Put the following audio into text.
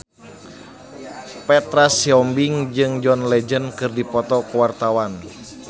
Petra Sihombing jeung John Legend keur dipoto ku wartawan